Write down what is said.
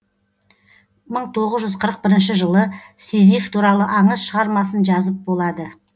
мың тоғыз жүз қырық бірінші жылы сизиф туралы аңыз шығармасын жазып болады